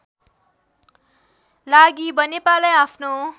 लागि बनेपालाई आफ्नो